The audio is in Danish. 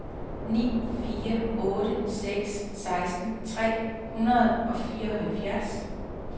ni fire otte seks seksten tre hundrede og fireoghalvfems